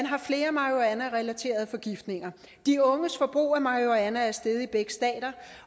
har flere marihuanarelaterede forgiftninger de unges forbrug af marihuana er steget i begge stater